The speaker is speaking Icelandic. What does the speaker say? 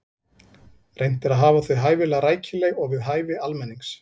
Reynt er að hafa þau hæfilega rækileg og við hæfi almennings.